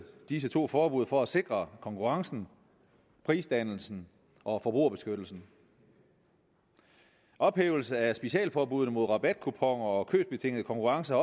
disse to forbud for at sikre konkurrencen prisdannelsen og forbrugerbeskyttelsen ophævelse af specialforbuddene mod rabatkuponer og købsbetingede konkurrencer